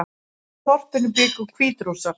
Í þorpinu bjuggu Hvítrússar